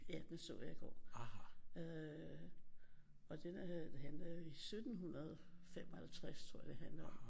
Ja den så jeg i går øh og den handler jo i 1755 tror jeg det handler om